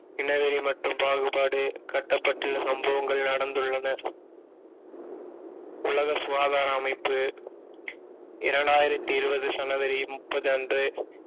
இனவெறி மற்றும் பாகுபாடு கட்டப்பட்டு சம்பவங்கள் நடந்துள்ளன உலக சுகாதார அமைப்பு இரண்டாயிரத்தி இருபது ஜனவரி முப்பது அன்று